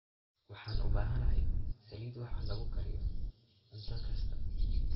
Waxaan u baahanahay saliid wax lagu kariyo cunto kasta.